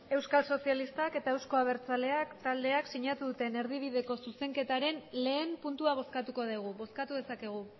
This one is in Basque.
euskal sozialistak eta euzko abertzaleak taldeak sinatu duten erdibideko zuzenketaren lehen puntua bozkatuko dugu bozkatu dezakegu